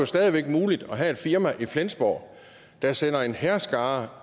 stadig væk er muligt at have et firma i flensborg der sender en hærskare